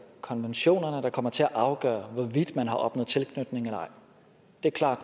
konventionerne der kommer til at afgøre hvorvidt man har opnået tilknytning eller ej det er klart